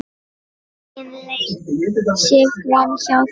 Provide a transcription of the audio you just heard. Engin leið sé framhjá því.